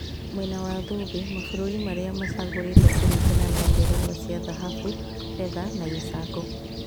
Mwena wa thũmbĩ, mabũrũri marĩa macagũrĩtwo kũringana na ngerenwa cia thahabu, betha na gĩcango